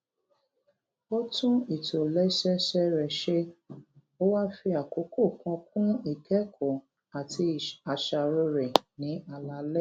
ó tún ìtòlésẹẹsẹ rè ṣe ó wá fi àkókò kan kún ìkékòó àti àṣàrò rè ní alaalé